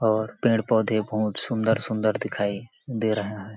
और पेड़-पौधे बहुत सुन्दर-सुन्दर दिखाई दे रहे हैं।